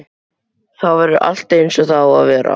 Þá verður allt eins og það á að vera.